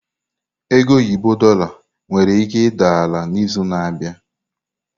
Ego oyibo Dorlar nwere ike ịda ala n'izu na-abịa.